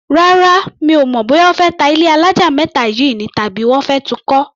Rárá, mi ò mọ̀ bóyá wọ́n fẹ́ ta ilé alájà méta yìí, tàbí wọ́n fẹ́ tun kọ́.